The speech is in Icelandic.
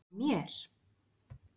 að mér?